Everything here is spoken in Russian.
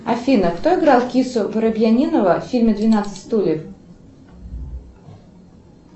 афина кто играл кису воробьянинова в фильме двенадцать стульев